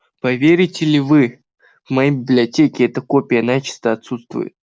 поверите ли в моей библиотеке эта копия начисто отсутствует